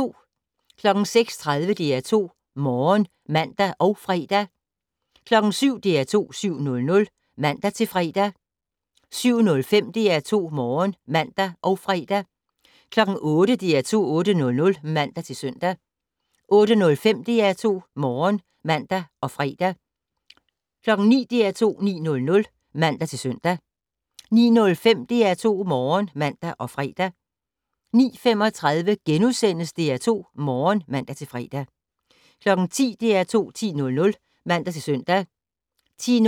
06:30: DR2 Morgen (man og fre) 07:00: DR2 7:00 (man-fre) 07:05: DR2 Morgen (man og fre) 08:00: DR2 8:00 (man-søn) 08:05: DR2 Morgen (man og fre) 09:00: DR2 9:00 (man-søn) 09:05: DR2 Morgen (man og fre) 09:35: DR2 Morgen *(man-fre) 10:00: DR2 10:00 (man-søn) 10:05: DR2